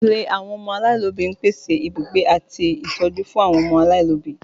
Ilé àwọn ọmọ aláìlóbi ń pèsè ibùgbé àti ń ṣe ìtọ́jú fún àwọn ọmọ aláìlóbi